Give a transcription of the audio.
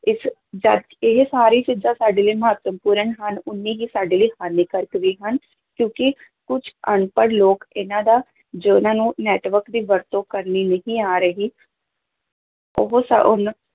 ਇਸ ਇਹ ਸਾਰੀ ਚੀਜ਼ਾਂ ਸਾਡੇ ਲਈ ਮਹੱਤਵਪੂਰਨ ਹਨ ਓਨੀ ਹੀ ਸਾਡੇ ਲਈ ਹਾਨੀਕਾਰਕ ਵੀ ਹਨ, ਕਿਉਂਕਿ ਕੁੱਝ ਅਨਪੜ੍ਹ ਲੋਕ ਇਹਨਾਂ ਦਾ, ਜਿਹਨਾਂ ਨੂੰ network ਦੀ ਵਰਤੋਂ ਕਰਨੀ ਨਹੀਂ ਆ ਰਹੀ ਉਹ